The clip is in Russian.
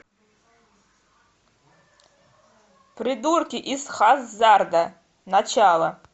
придурки из хаззарда начало